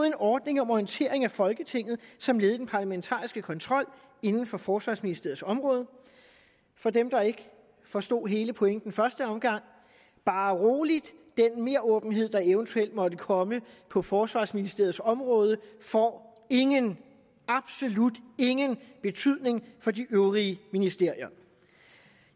en ordning om orientering af folketinget som led i den parlamentariske kontrol inden for forsvarsministeriets område for dem der ikke forstod hele pointen i første omgang bare rolig den meråbenhed der eventuelt måtte komme på forsvarsministeriets område får ingen absolut ingen betydning for de øvrige ministerier